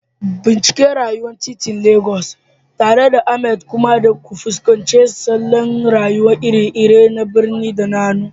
Bincika rayuwar titin Legas tare da Ahmad kuma ku fuskanci salon rayuwa iri-iri na birni da hannu.